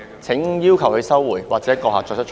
請要求他收回，或閣下作出裁決。